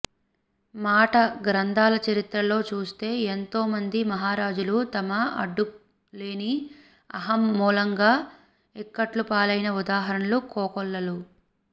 మాట గ్రంధాల చరిత్రలో చూస్తే ఎంతో మంది మహారాజులు తమ అడ్డులేని అహం మూలంగా ఇక్కట్లుపాలైన ఉదాహరణలు కోకొల్లలు